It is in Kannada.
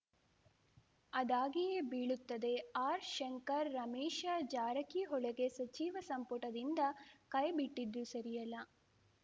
ಅದಾಗಿಯೇ ಬೀಳುತ್ತದೆ ಆರ್‌ಶಂಕರ್‌ ರಮೇಶ ಜಾರಕಿಹೊಳಗೆ ಸಚಿವ ಸಂಪುಟದಿಂದ ಕೈಬಿಟ್ಟಿದ್ದು ಸರಿಯಲ್ಲ